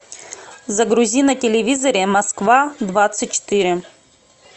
загрузи на телевизоре москва двадцать четыре